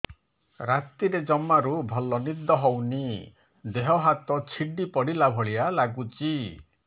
ରାତିରେ ଜମାରୁ ଭଲ ନିଦ ହଉନି ଦେହ ହାତ ଛିଡି ପଡିଲା ଭଳିଆ ଲାଗୁଚି